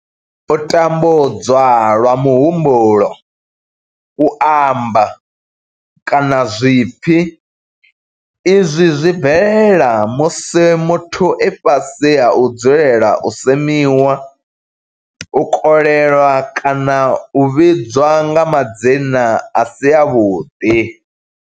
U tambudzwa lwa muhumbulo, u amba, kana zwipfi, Izwi zwi bvelela musi muthu e fhasi ha u dzulela u semiwa, u kolelwa kana u vhidzwa nga madzina a si avhuḓi.